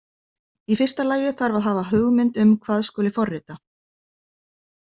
Í fyrsta lagi þarf að hafa hugmynd um hvað skuli forrita.